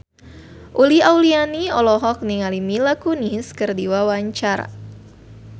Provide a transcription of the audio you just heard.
Uli Auliani olohok ningali Mila Kunis keur diwawancara